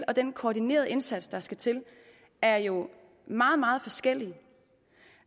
og den koordinerede indsats der skal til er jo meget meget forskellige